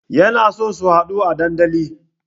Yana so su haɗu a dandali